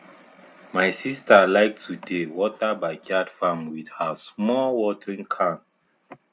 my sister like to dey water backyard farm with her small watering can